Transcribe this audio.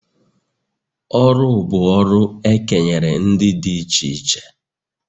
Ọrụ bụ ọrụ e kenyere ndị dị iche iche